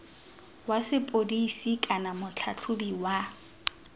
wa sepodisi kana motlhatlhobi wa